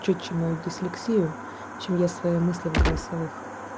чётче мою дисслексию чем я свои мысли в голосовых